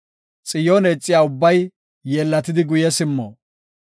Xiyoone ixiya ubbay yeellatidi guye simmo.